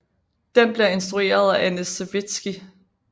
Den bliver instrueret af Anne Sewitsky